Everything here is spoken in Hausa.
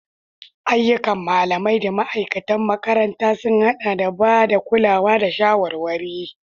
Ayyukan malamai da ma'aikatan makaranta sun haɗa da ba da kulawa da shawarwari.